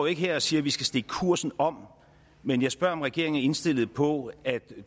ikke her og siger at vi skal stikke kursen om men jeg spørger om regeringen er indstillet på at